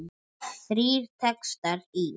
Þrír textar í